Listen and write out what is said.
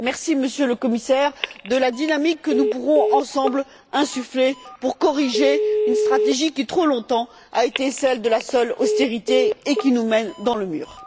Merci, Monsieur le Commissaire, de la dynamique que nous pourrons ensemble insuffler pour corriger une stratégie qui, trop longtemps, a été celle de la seule austérité et qui nous mène dans le mur.